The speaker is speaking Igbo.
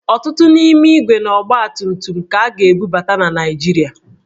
Ọtụtụ n'ime ígwè na ọgbatumtum ka a ga-ebubata na Naịjirịa